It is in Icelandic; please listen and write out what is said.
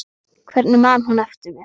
Hvernig man hún eftir mér?